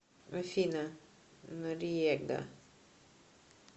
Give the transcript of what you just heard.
афина нориега